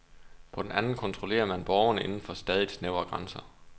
På den anden kontrollerer man borgerne inden for stadigt snævrere grænser.